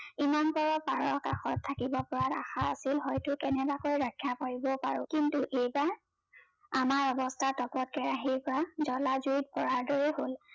ইমান পৰে পাৰৰ কাষত থাকিব পৰা আশা আছিল হয়তো কেনেবাকে ৰক্ষা কৰিব পাৰো কিন্তু এইবাৰ আমাৰ অৱস্থা কে আহি জলা জুইত পৰাৰ দৰে হল